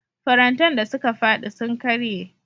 Farantan da suka faɗi sun karye.